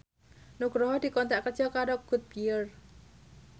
Nugroho dikontrak kerja karo Goodyear